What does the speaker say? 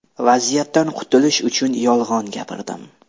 Vaziyatdan qutilish uchun yolg‘on gapirdim.